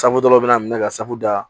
dɔ bɛna minɛ ka sago da